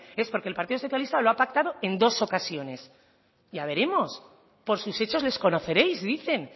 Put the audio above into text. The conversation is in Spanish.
es porque el partido socialista lo ha pactado en dos ocasiones ya veremos por sus hechos les conoceréis dicen